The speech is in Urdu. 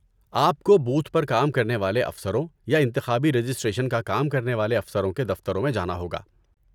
آپ کو بوتھ پر کام کرنے والے افسروں یا انتخابی رجسٹریشن کا کام کرنے والے افسروں کے دفتروں میں جانا ہوگا۔